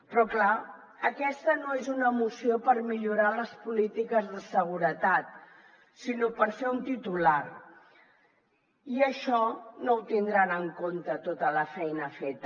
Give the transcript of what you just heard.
però clar aquesta no és una moció per millorar les polítiques de seguretat sinó per fer un titular i això no ho tindran en compte en tota la feina feta